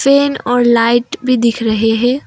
Pen और light भी दिख रहे हैं।